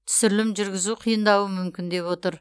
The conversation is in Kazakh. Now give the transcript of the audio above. түсірілім жүргізу қиындауы мүмкін деп отыр